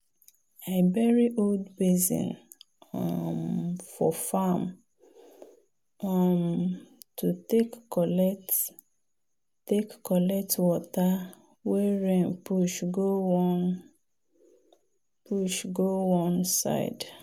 i bury old basin um for farm um to take collect take collect water wey rain push go one um side.